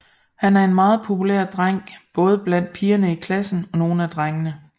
Han er en meget populær dreng både blandt pigerne i klassen og nogle af drengene